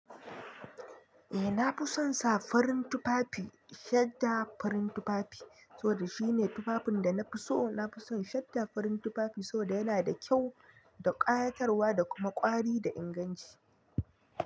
Eh na fi son sa farin tufafi, shadda farin tufafi, saboda shine tufafin da na fi so. Na fi son shadda farin tufafi saboda yana da kyau da ƙayatarwa da kuma ƙwari da inganci.